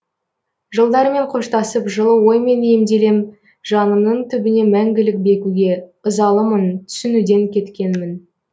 жылдармен қоштасып жылы оймен емделем жанымның түбіне мәңгілік бекуге ызалымын түсінуден кеткенмін